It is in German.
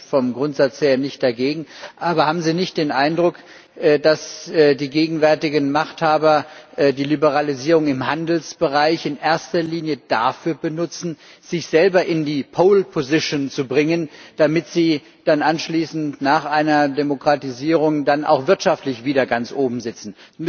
Da bin ich vom Grundsatz her nicht dagegen. Aber haben Sie nicht den Eindruck, dass die gegenwärtigen Machthaber die Liberalisierung im Handelsbereich in erster Linie dafür benutzen, sich selber in die Pole Position zu bringen, damit sie dann anschließend nach einer Demokratisierung dann auch wirtschaftlich wieder ganz oben sitzen?